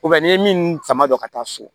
n'i ye min sama dɔn ka taa so